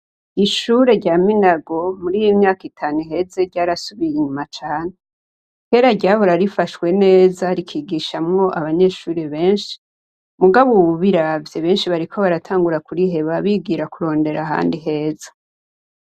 Ishure rya Minago muriyimyaka itanu iheze ryarasubiye inyuma cane kera ryahora rifashwe neza rikigishamwo abanyeshure benshi mugabo ubu ubiravye benshi bariko baratangura kuriheba bigira kurondera ahandi heza.